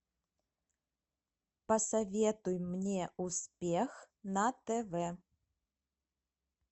посоветуй мне успех на тв